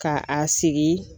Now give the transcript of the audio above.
Ka a sigi